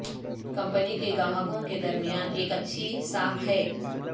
company کے گاہکوں کے درمیان ایک اچھی ساکھ ہے